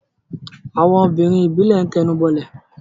àwọn obìnrin ìbílẹ̀ ń tẹnubọlẹ̀.